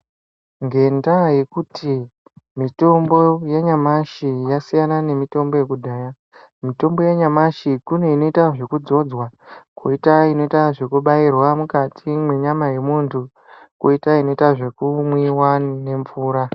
Ngendaya yekuti mitombo yanyamashi yasiyana nemitombo yekudhaya mitombo yanyamashi kune inota zvekudzodzwa koita inota zvekubairwa mukati mwenyama yemuntu koita inoita zvekumwiwa nemvura.